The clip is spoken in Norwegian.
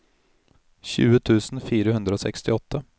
tjue tusen fire hundre og sekstiåtte